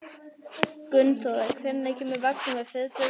Gunnþóra, hvenær kemur vagn númer fjörutíu og tvö?